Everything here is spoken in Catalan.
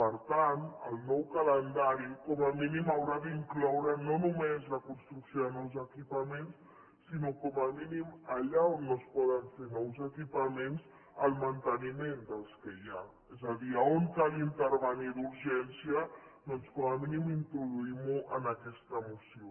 per tant el nou calendari com a mínim haurà d’incloure no només la construcció de nous equipaments sinó com a mínim allà on no es poden fer nous equipaments el manteniment dels que hi ha és a dir on cal intervenir d’urgència doncs com a mínim introduïm ho en aquesta moció